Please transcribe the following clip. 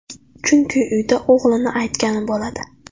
Chunki uyda o‘g‘lini aytgani bo‘ladi.